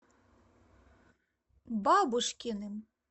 бабушкиным